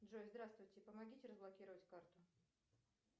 джой здравствуйте помогите разблокировать карту